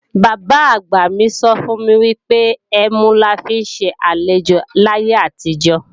Bàbá-àgbà mi sọ fún mi wípé, ẹmu la fi ń ṣe àlejò láyé àtijó